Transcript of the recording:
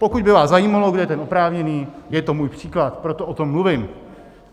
Pokud by vás zajímalo, kdo je ten oprávněný - je to můj příklad, proto o tom mluvím.